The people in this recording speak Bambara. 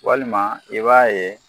Walima i b'a ye